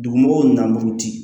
Dugumɔgɔw na buruti